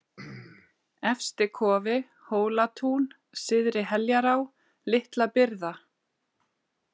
Efstikofi, Hólatún, Syðri-Heljará, Litla-Byrða